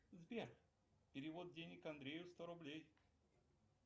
сбер перевод денег андрею сто рублей